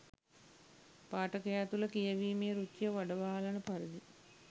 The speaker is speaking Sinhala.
පාඨකයා තුළ කියවීමේ රුචිය වඩවාලන පරිදි